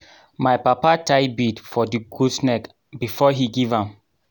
my papa tie bead for the goat neck before he give am.